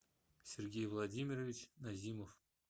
сергей владимирович назимов